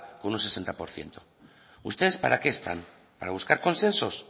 con un sesenta por ciento ustedes para qué están para buscar consensos